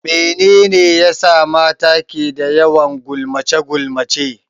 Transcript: Mene ne ya sa mata ke da yawan gulmace-gulmace?